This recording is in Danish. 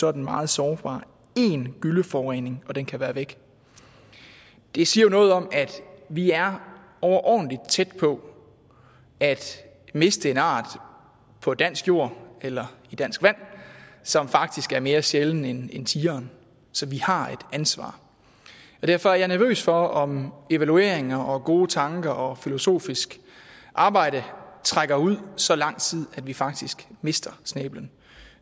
er den meget sårbar én gylleforurening og den kan være væk det siger jo noget om at vi er overordentlig tæt på at miste en art på dansk jord eller i dansk vand som faktisk er mere sjælden end tigeren så vi har et ansvar derfor er jeg nervøs for om evalueringer og gode tanker og filosofisk arbejde trækker ud så lang tid at vi faktisk mister snæblen